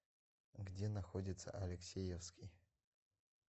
где находится алексеевский